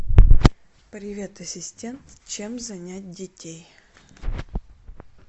привет ассистент чем занять детей